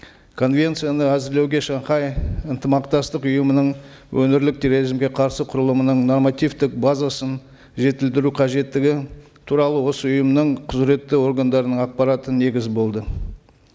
конвенцияны әзірлеуге шанхай ынтымақтастық ұйымының өңірлік терроризмге қарсы құрылымының нормативтік базасын жетілдіру қажеттігі туралы осы ұйымның құзыретті органдарының ақпараты негіз болды